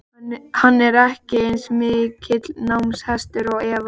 Hann er ekki eins mikill námshestur og Eva.